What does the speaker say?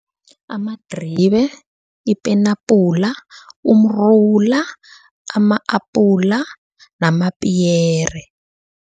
Amadribe, ipenabhula, umrula, ama-apula, namapiyere.